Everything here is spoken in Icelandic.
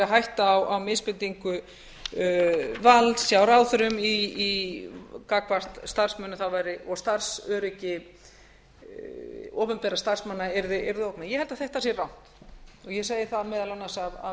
hætta á misbeitingu valds hjá ráðherrum gagnvart starfsmönnum og starfsöryggi opinberra starfsmanna yrði ógnað ég held að þetta sé rangt og ég segi það meðal annars af